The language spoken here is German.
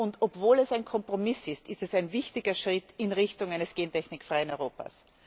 Und obwohl es ein Kompromiss ist, ist es ein wichtiger Schritt in Richtung eines gentechnikfreien Europas.